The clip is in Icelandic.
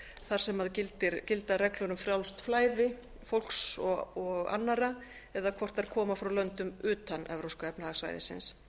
þar sem gilda reglur um frjálst flæði fólks og annarra eða hvort þær koma frá löngum utan evrópska efnahagssvæðisins